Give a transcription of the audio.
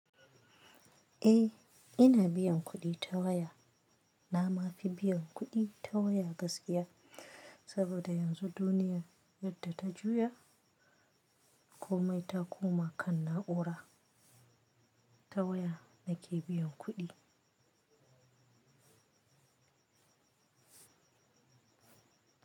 Eh, ina biyan kuɗi ta waya. Na ma fi biyan kuɗi ta waya gaskiya, saboda yanzu duniya yadda ta juya komai ta koma kan na'ura ta waya nake biyan kuɗi.